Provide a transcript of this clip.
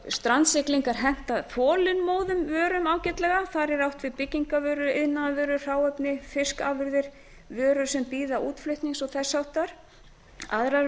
strandsiglingar henta þolinmóðum vörum ágætlega þar er átt við byggingarvörur iðnaðarvörur hráefni fiskafurðir vörur sem bíða útflutnings og þess háttar aðrar